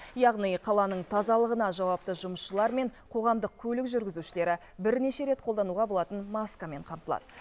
яғни қаланың тазалығына жауапты жұмысшылар мен қоғамдық көлік жүргізушілері бірнеше рет қолдануға болатын маскамен қамтылады